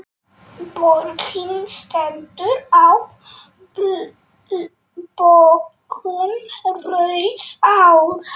Borgin stendur á bökkum Rauðár.